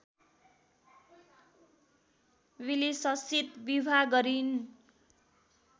विलिससित विवाह गरिन्